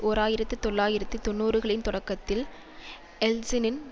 ஓர் ஆயிரத்தி தொள்ளாயிரத்து தொன்னூறுகளின் தொடக்கத்தில் யெல்ட்சினின்